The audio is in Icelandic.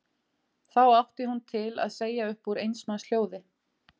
Þá átti hún til að segja upp úr eins manns hljóði